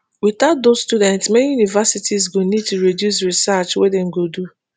witout dos students many universities go need to reduce research wey dem go do